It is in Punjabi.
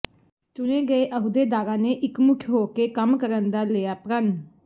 ਚੁਣੇ ਗਏ ਅਹੁਦੇਦਾਰਾ ਨੇ ਇਕਮੁਠ ਹੋ ਕੇ ਕਮ ਕਰਨ ਦਿਆ ਲਿਆ ਪ੍ਰਣ